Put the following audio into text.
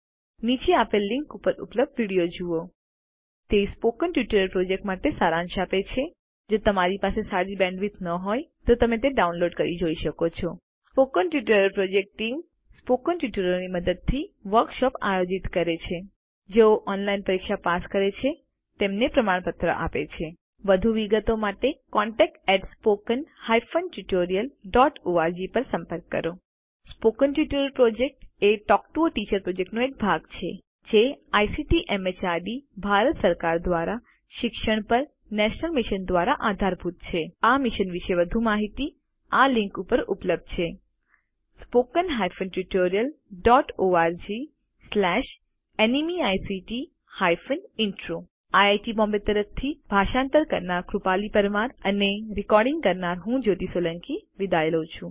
નીચે આપેલ લીનક ઉપર ઉપલબ્ધ વિડીઓ જુઓ httpspoken tutorialorgWhat is a Spoken Tutorial તે સ્પોકન ટ્યુટોરીયલ પ્રોજેક્ટ માટે સારાંશ આપે છે જો તમારી પાસે સારી બેન્ડવિડ્થ ન હોય તો તમે ડાઉનલોડ કરી તે જોઈ શકો છો spoken tutorial project team spoken ટ્યુટોરીયલોની મદદથી વર્કશોપ આયોજિત કરે છે જેઓ ઓનલાઇન પરીક્ષા પાસ કરે છે તેમને પ્રમાણપત્ર આપે છે વધુ વિગતો માટે contactspoken tutorialorg પર સંપર્ક કરો સ્પોકન ટ્યુટોરિયલ પ્રોજેક્ટ એ ટોક ટુ અ ટીચર પ્રોજેક્ટનો એક ભાગ છે જે આઇસીટી એમએચઆરડી ભારત સરકાર દ્વારા શિક્ષણ પર નેશનલ મિશન દ્વારા આધારભૂત છે આ મિશન વિશે વધુ માહીતી આ લીંક ઉપર ઉપલબ્ધ છે httpspoken tutorialorgNMEICT Intro IIT Bombay તરફથી ભાષાંતર કરનાર હું કૃપાલી પરમાર વિદાય લઉં છું